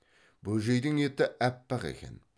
бөжейдің еті әппақ екен